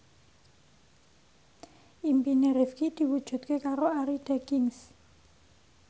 impine Rifqi diwujudke karo Arie Daginks